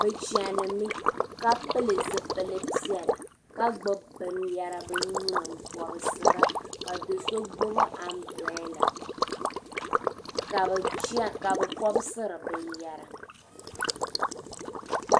Bɛ chanimi ka pili zipili piɛla ka gbubi binyɛra bɛ nuu ni m-pɔbisira ka do so gbubi ambirala ka bɛ pɔbisiri binyɛra.